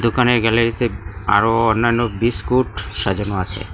দোকানের গ্যালারিতে আরও অন্যান্য বিস্কুট সাজানো আছে।